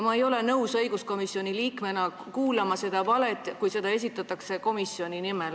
Ma ei ole õiguskomisjoni liikmena nõus kuulama seda valet, kui seda esitatakse komisjoni nimel.